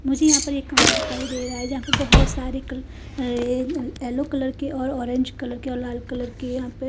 मुझे यहां पर एक कमरा दिखाई दे रहा है जहां पे बहोत सारे कल ये अ येलो कलर के और ऑरेंज कलर के और लाल कलर के यहां पे--